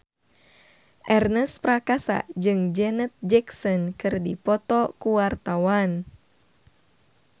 Ernest Prakasa jeung Janet Jackson keur dipoto ku wartawan